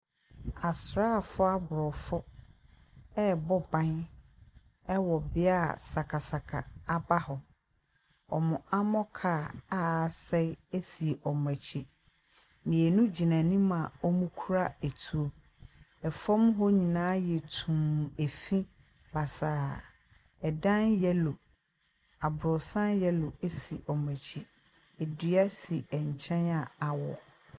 Asraafo aborɔfo ɛrebɔ ban wɔ bea a sakasaka aba hɔ, wɔn armor kaa a asɛe si wɔn akyi. Mmienu gyina anim a wɔkura atuo. Fam hɔ nyinaa ayɛ tumm ɛfii basaa. Dan yellow aborɔsan yellow si wɔn akyi, dua si nkyɛn a awo.